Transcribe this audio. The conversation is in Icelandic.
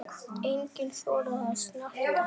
Enginn þorir að snerta hann.